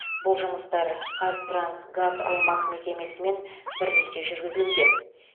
бұл жұмыстар қазтрансгазаймақ мекемесімен бірлесе жүргізілуде